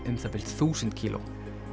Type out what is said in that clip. um það bil þúsund kíló